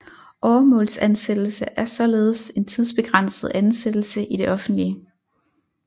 Åremålsansættelse er således en tidsbegrænset ansættelse i det offentlige